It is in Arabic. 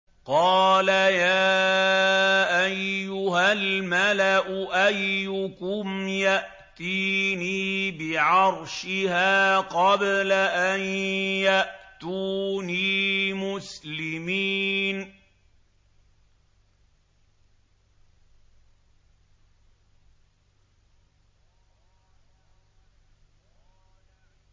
قَالَ يَا أَيُّهَا الْمَلَأُ أَيُّكُمْ يَأْتِينِي بِعَرْشِهَا قَبْلَ أَن يَأْتُونِي مُسْلِمِينَ